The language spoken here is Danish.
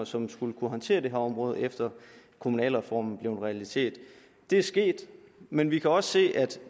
som skulle kunne håndtere det her område efter kommunalreformen blev en realitet det er sket men vi kan også se at